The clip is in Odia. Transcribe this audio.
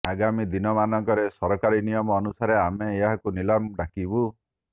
ଆଗାମୀ ଦିନମାନଙ୍କରେ ସରକାରୀ ନିୟମ ଅନୁସାରେ ଆମେ ଏହାକୁ ନିଲାମ ଡାକିବୁ